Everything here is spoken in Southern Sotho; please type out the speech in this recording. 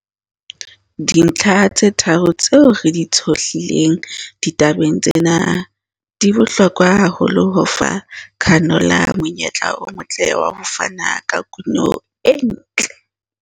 Dintlha tse tharo tseo re di tshohlileng ditabeng tsena di bohlokwa haholo ho fa canola monyetla o motle wa ho fana ka kuno e ntle.